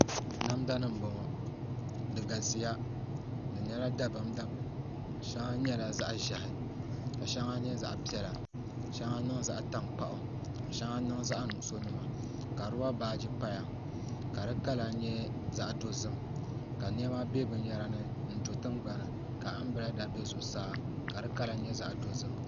Namda nim n bɔŋɔ di galisiya pam shɛŋa nyɛla zaɣ ʒiɛhi ka shɛŋa nyɛ zaɣ piɛla shɛŋa niŋ zaɣ tankpaɣu ka shɛŋa niŋ zaɣ nuɣso nima ka roba baaji paya ka di kala nyɛ zaɣ dozim ka niɛma bɛ binyɛra ni n do tingbani ka anbirɛla do zuɣusaa ka di kala nyɛ zaɣ dozim